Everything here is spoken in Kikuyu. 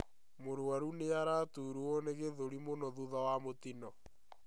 Murwaru niaraturwo nĩ githũri mũno thutha wa mũtino